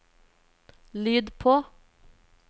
lyd på